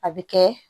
A bɛ kɛ